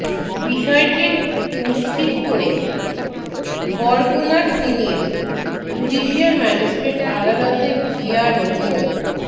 বিষয়টি নিশ্চিত করে বরগুনার সিনিয়র জুডিশিয়াল ম্যাজিস্ট্রেট আদালতের জিআরও মো